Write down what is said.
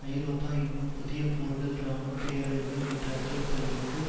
ஐரோப்பா இன்னும் புதிய போர்கள் இராணுவ பேரழிவுகள் என்ற அச்சுறுத்தல்களுக்கு